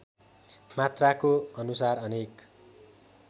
मात्राको अनुसार अनेक